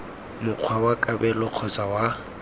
mokgwa wa kabelo kgotsa wa